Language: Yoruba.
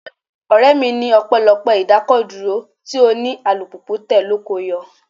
Ọ̀rẹ́ mi ní ọpẹlọpé idakoduro tí òní - alùpùpù tẹ ló ko o yọ.